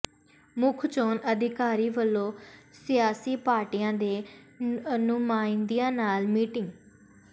ਮੁੱਖ ਚੋਣ ਅਧਿਕਾਰੀ ਵਲੋਂ ਸਿਆਸੀ ਪਾਰਟੀਆਂ ਦੇ ਨੁਮਾਇੰਦਿਆਂ ਨਾਲ ਮੀਟਿੰਗ